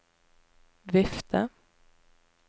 vifte